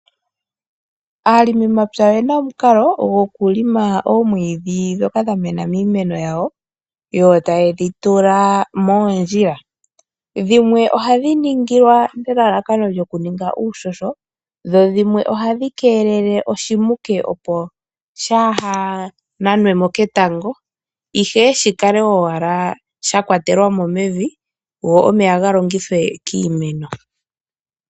Aalongimapya oye na omukalo gokulonga mo omwiidhi ngoka gwa mena miimeno yawo yo taye dhi tula moondjila. Dhimweohadhi ningwa nelalakano lyokuninga uuhoho, dhimwe ohadhi ningwa okukeelela oshimuke , opo shaa ha nanwe mo ketango, ihe shi kale owala sha kwatelwa mo mevi go omeya ga longithwe kiimeno.